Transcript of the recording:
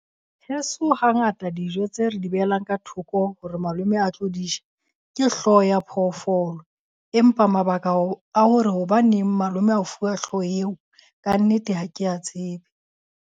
Heso hangata dijo tse re di behelang ka thoko hore malome a tlo di ja, ke hlooho ya phoofolo. Empa mabaka a hore hobaneng malome a fuwa hlooho eo. Kannete ha ke a tsebe.